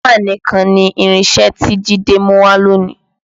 Hámà nìkan ni irinṣẹ́ tí Jide mú wá lónìí